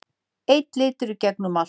Einn litur í gegnum allt.